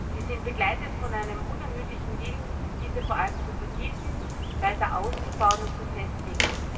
Sie sind begleitet von einem unermüdlichen Willen, diese vor allem zu vertiefen, weiter auszubauen und zu festigen.